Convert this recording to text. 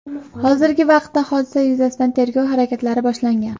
Hozirgi vaqtda hodisa yuzasidan tergov harakatlari boshlangan.